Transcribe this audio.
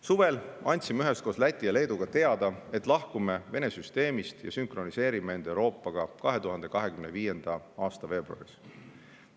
Suvel andsime üheskoos Läti ja Leeduga teada, et lahkume Vene süsteemist ja sünkroniseerime end Euroopaga 2025. aasta veebruaris.